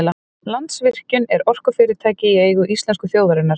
Landsvirkjun er orkufyrirtæki í eigu íslensku þjóðarinnar.